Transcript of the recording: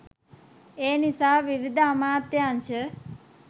එනිසා විවිධ අමාත්‍යාංශ